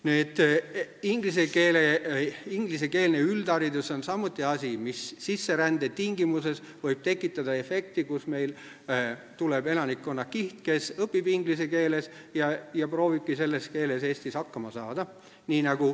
Nüüd, ingliskeelne üldharidus on samuti asi, mis sisserände tingimustes võib tekitada efekti, kus meil tuleb elanikkonnakiht, kes õpib inglise keeles ja proovibki selles keeles Eestis hakkama saada.